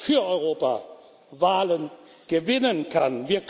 für Europa Wahlen gewinnen kann!